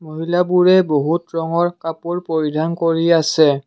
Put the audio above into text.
মহিলাবোৰে বহুত ৰঙৰ কাপোৰ পৰিধান কৰি আছে।